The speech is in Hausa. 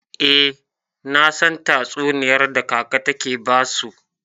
Eh, nasan tatsuniyar da kaka take basu.